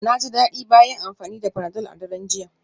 Na ji daɗi bayan amfani da panadol a daren jiya.